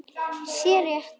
sé rétt.